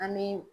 An bɛ